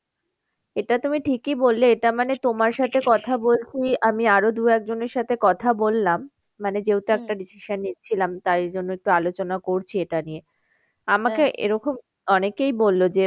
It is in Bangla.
এটা তুমি ঠিকই বললে এটা মানে তোমার সাথে কথা বলছি আমি আরো দু একজনের সাথে কথা বললাম। মানে যেহেতু একটা decision নিচ্ছিলাম তাই জন্য একটু আলোচনা করছি এটা নিয়ে এরকম অনেকেই বললো যে